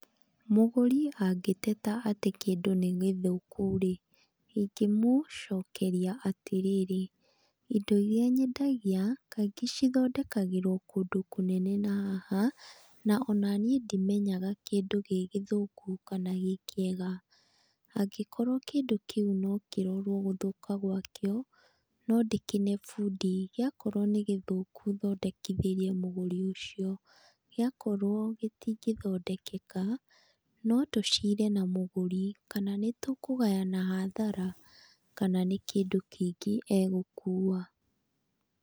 Mũgũri angĩteta atĩ kĩndũ nĩ gĩthũku-rĩ ingĩmũcokeria atĩrĩrĩ, indo irĩa nyendagia kaingĩ cithondekagĩrwo kũndũ kũnene na haha na ona niĩ ndimenyaga kĩndũ gĩ gĩthũku kana gĩ kĩega. Angĩkorwo kĩndũ kĩu no kĩrorwo gũthũka gwakĩo, no ndĩkĩne fundi, gĩakorwo ni gĩthũku thondekithĩrie mũgũri ũcio, gĩakorwo gĩtingĩthondekeka no tũcire na mũgũri, kana nĩtũkũgayana hathara kana nĩ kĩndũ kĩngĩ egũkua.